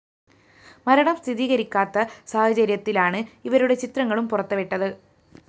മരണം സ്ഥിരീകരിക്കാത്ത സാഹചര്യത്തിലാണ് ഇവരുടെ ചിത്രങ്ങളും പുറത്തുവിട്ടത്